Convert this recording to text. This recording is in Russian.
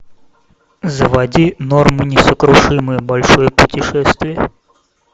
заводи норм и несокрушимые большое путешествие